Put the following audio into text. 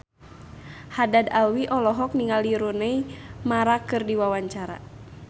Haddad Alwi olohok ningali Rooney Mara keur diwawancara